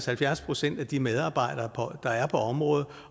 halvfjerds procent af de medarbejdere der er på området